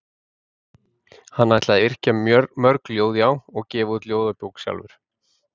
Hann ætlaði að yrkja mörg ljóð já, gefa út ljóðabók sjálfur.